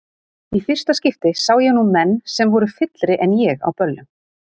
Í fyrsta skipti sá ég nú menn sem voru fyllri en ég á böllum.